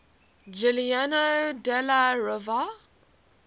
giuliano della rovere